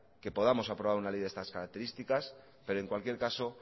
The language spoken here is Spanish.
que podamos aprobar una ley de estas características pero en cualquier caso